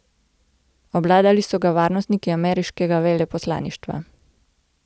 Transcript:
Obvladali so ga varnostniki ameriškega veleposlaništva.